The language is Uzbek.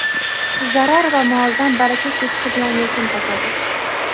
zarar va molidan baraka ketishi bilan yakun topadi.